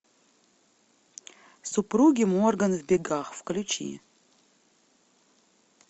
супруги морган в бегах включи